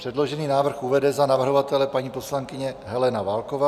Předložený návrh uvede za navrhovatele paní poslankyně Helena Válková.